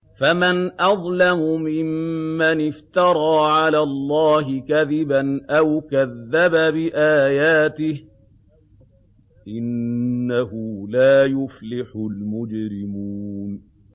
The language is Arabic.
فَمَنْ أَظْلَمُ مِمَّنِ افْتَرَىٰ عَلَى اللَّهِ كَذِبًا أَوْ كَذَّبَ بِآيَاتِهِ ۚ إِنَّهُ لَا يُفْلِحُ الْمُجْرِمُونَ